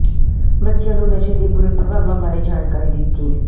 ਬੱਚਿਆਂ ਨੂੰ ਨਸ਼ੇ ਦੇ ਬੁਰੇ ਪ੍ਰਭਾਵਾਂ ਬਾਰੇ ਜਾਣਕਾਰੀ ਦਿੱਤੀ